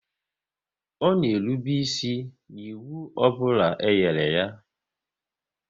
Ọ na erube isi n'ịwụ ọbụla e nyere ya